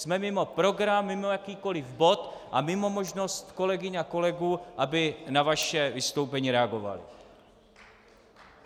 Jsme mimo program, mimo jakýkoliv bod a mimo možnost kolegyň a kolegů, aby na vaše vystoupení reagovali.